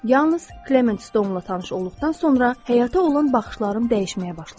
Yalnız Klement Stonela tanış olduqdan sonra həyata olan baxışlarım dəyişməyə başladı.